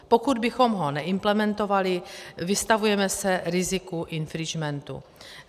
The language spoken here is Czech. Pokud bychom ho neimplementovali, vystavujeme se riziku infringementu.